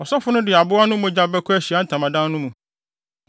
Ɔsɔfo no de aboa no mogya bɛkɔ Ahyiae Ntamadan no mu.